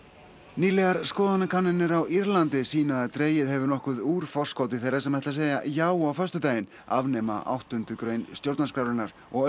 nýlegar skoðanakannanir á Írlandi sýna að dregið hefur nokkuð úr forskoti þeirra sem ætla að segja já á föstudaginn afnema áttundu grein stjórnarskrárinnar og